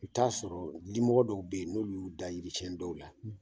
U t'a sɔrɔ limɔgɔ dɔw bɛ yen n'olu y'u da yirisiɲɛ dɔw la